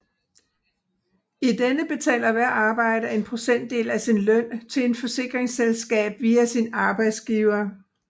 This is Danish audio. I denne betaler hver arbejder en procentdel af sin løn til et forsikringsselskab via sin arbejdsgiver